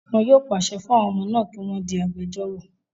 Wọn yóò pàṣẹ fún àwọn ọmọ náà kí wọ́n di agbejórò